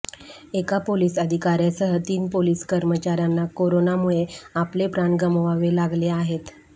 एका पोलीस अधिकाऱ्यासह तीन पोलीस कर्मचाऱ्यांना करोनामुळे आपले प्राण गमवावे लागले आहेत